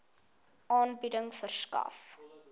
aanbieding verskaf